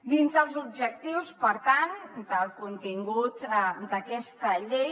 dins dels objectius per tant del contingut d’aquesta llei